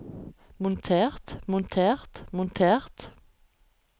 montert montert montert